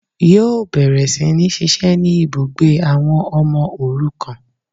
Yíò bẹ̀rẹ̀ sí ní ṣiṣẹ́ ní ibùgbé àwọn ọmọ òrukàn